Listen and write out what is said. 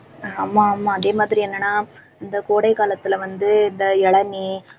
ஆமா ஆமா அதே மாதிரி என்னன்னா இந்த கோடை காலத்துல வந்து இந்த இளநீர்